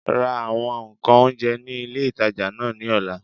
Ra àwọn ǹkan oúnjẹ ní ilé ìtajà náà ní ọ̀la